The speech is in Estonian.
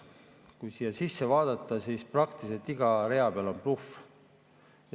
Kui siia sisse vaadata, siis praktiliselt iga rea peal on näha bluffi.